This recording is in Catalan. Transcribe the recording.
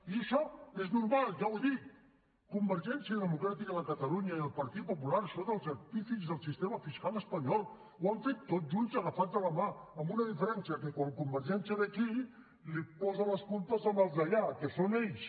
i això és normal ja ho he dit convergència democràtica de catalunya i el partit popular són els artífexs del sistema fiscal espanyol ho han fet tots junts agafats de la mà amb una diferència que quan convergència ve aquí posa les culpes als d’allà que són ells